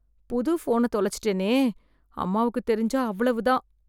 புது ஃபோனத் தொலைச்சுட்டேனே! அம்மாவுக்குத் தெரிஞ்சா அவ்வளவு தான்!